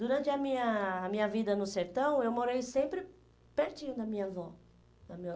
Durante a minha vida a minha vida no sertão, eu morei sempre pertinho da minha avó. Do meu